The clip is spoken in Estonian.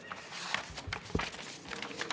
Aitäh!